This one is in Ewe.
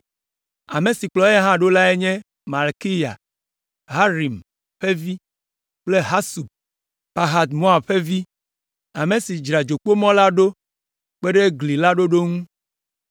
Ame siwo kplɔ eya hã ɖo lae nye Malkiya, Harim ƒe vi kple Hasub, Pahat Moab ƒe vi, ame si dzra Dzokpomɔ la ɖo kpe ɖe gli la ɖoɖo ŋu.